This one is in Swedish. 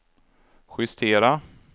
justera